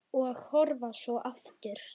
Og horfa svo aftur.